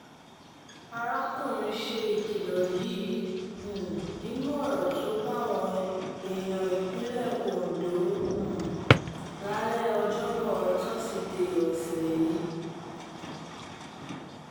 arákùnrin ṣe ìkìlọ̀ yìí um nínú ọ̀rọ̀ tó báwọn èèyàn ìpínlẹ̀ ondo um lálẹ́ ọjọ́bọ́ tosidee ọ̀sẹ̀ yìí